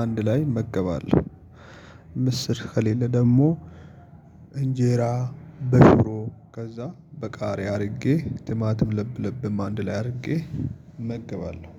አንድ ላይ እመገባለሁ። ምስር ከሌለ ደግሞ። እንጀራ በሽሮ ከዛ በቃሪያ አድርጌ ትማትም ለብ ለብም አንድ ላይ አድርጌ እመግባለሁ